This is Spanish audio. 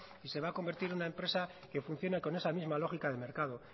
y se va a convertir en una empresa que funcione con esa misma lógica de mercado